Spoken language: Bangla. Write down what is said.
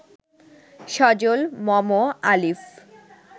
সজল, মম, আলিফ